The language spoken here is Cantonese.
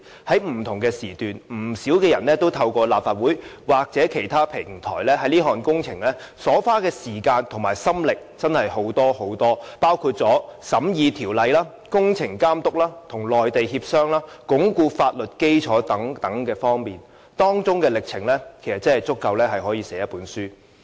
在不同時段，不少人透過立法會或其他平台，在這項工程花了真的很多時間和心力，包括審議法例、監督工程、與內地協商、鞏固法律基礎等方面，歷程足以寫成一本書。